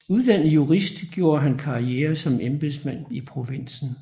Uddannet jurist gjorde han karriere som embedsmand i provinsen